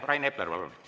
Rain Epler, palun!